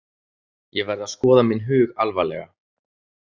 Ég verð að skoða minn hug alvarlega.